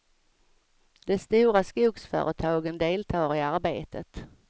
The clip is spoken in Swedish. De stora skogsföretagen deltar i arbetet.